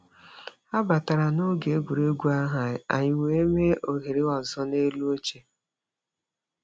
Ha batara n'oge egwuregwu ahụ, anyị wee mee ohere ọzọ n'elu oche.